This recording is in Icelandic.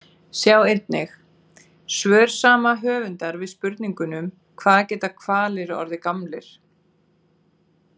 Sjá einnig: Svör sama höfundar við spurningunum Hvað geta hvalir orðið gamlir?